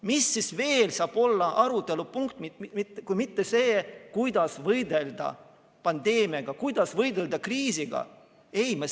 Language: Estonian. Mis siis veel saab olla arutelu punkt kui mitte see, kuidas võidelda pandeemiaga, kuidas võidelda kriisiga?